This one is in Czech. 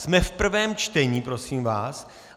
Jsme v prvém čtení, prosím vás.